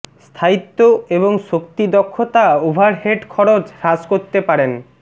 স্থায়িত্ব এবং শক্তি দক্ষতা ওভারহেড খরচ হ্রাস করতে পারেন